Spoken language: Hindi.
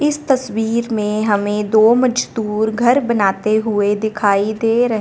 इस तस्वीर में हमें दो मजदूर घर बनाते हुए दिखाई दे र--